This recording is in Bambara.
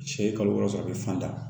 Cɛ ye kalo wɔɔrɔ sɔrɔ a bɛ fan da